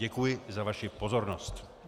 Děkuji za vaši pozornost.